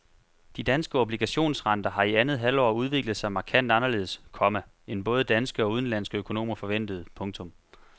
De danske obligationsrenter har i andet halvår udviklet sig markant anderledes, komma end både danske og udenlandske økonomer forventede. punktum